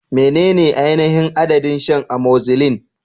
Menene ainihin adadin shan amoxicillin?